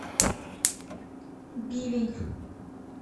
бивень